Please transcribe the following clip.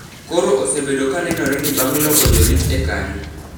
Koro osebedo ka nenore ni bang’ loko jorit e kanyo,